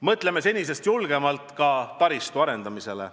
Mõtleme senisest julgemalt ka taristu arendamisele.